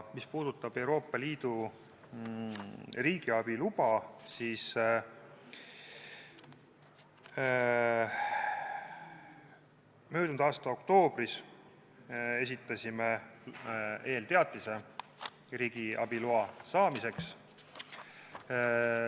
Mis puudutab Euroopa Liidu riigiabi luba, siis möödunud aasta oktoobris esitasime eelteatise riigiabi loa saamiseks.